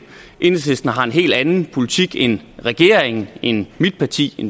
enhedslisten har en helt anden politik end regeringen end mit parti